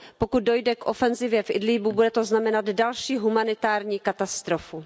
Pokud dojde k ofenzivě v Idlíbu, bude to znamenat další humanitární katastrofu.